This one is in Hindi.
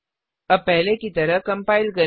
अब पहले की तरह कम्पाइल करें